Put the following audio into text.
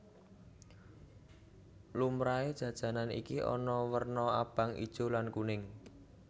Lumrahé jajanan iki ana werna abang ijo lan kuning